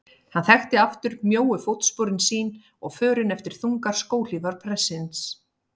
Hann þekkti aftur mjóu fótsporin sín og förin eftir þungar skóhlífar prestsins.